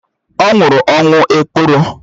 Ọ nwụrụ ọnwụ ekworo